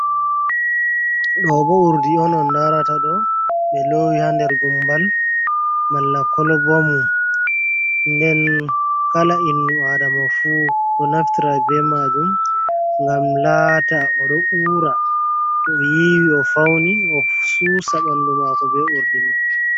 Ɗo bo urdi on on larata ɗo, ɓe lowi ha nder gumbal malla kolba mun, nden kala innu adama fu ɗo naftra be majum, ngam lata o ɗo ura to o yiwi o fauni o susa ɓandu mako be urdi man.